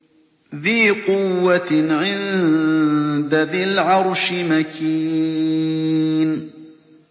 ذِي قُوَّةٍ عِندَ ذِي الْعَرْشِ مَكِينٍ